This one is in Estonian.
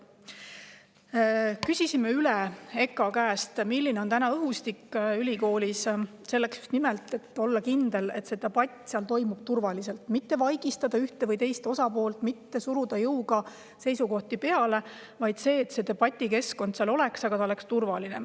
Küsisime EKA käest üle, milline on täna õhustik ülikoolis, just nimelt selleks, et olla kindlad, et see debatt toimub seal turvaliselt, et ühte või teist osapoolt ei vaigistata ega suruta jõuga peale seisukohti, et see debatikeskkond oleks seal turvaline.